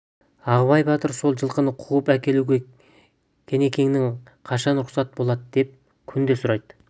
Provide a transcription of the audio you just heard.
ағыбай батыр сол жылқыны қуып әкелуге кенекеңнен қашан рұқсат болады деп күнде сұрайды